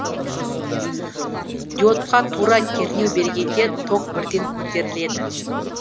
диодқа тура кернеу бергенде ток бірден көтеріледі